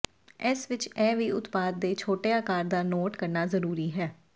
ਇਸ ਵਿਚ ਇਹ ਵੀ ਉਤਪਾਦ ਦੇ ਛੋਟੇ ਆਕਾਰ ਦਾ ਨੋਟ ਕਰਨਾ ਜ਼ਰੂਰੀ ਹੈ